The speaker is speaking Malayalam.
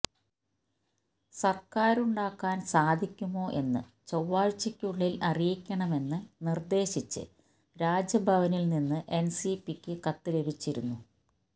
സര്ക്കാരുണ്ടാക്കാന് സാധിക്കുമോ എന്ന് ചൊവ്വാഴ്ചക്കുള്ളില് അറിയിക്കണമെന്ന് നിര്ദ്ദേശിച്ച് രാജ്ഭവനില് നിന്ന് എന്സിപിക്ക് കത്ത് ലഭിച്ചിരുന്നു